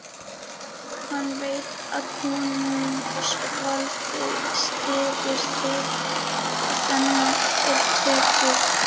Hann veit að konungsvaldið styður þig og sennan er töpuð.